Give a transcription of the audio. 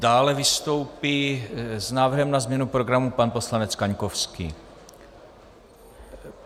Dále vystoupí s návrhem na změnu programu pan poslanec Kaňkovský.